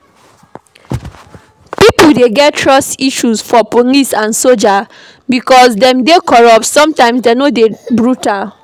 Pipo dey get trust issue for police and soldier because dem dey corrupt, sometimes dem de dey brutal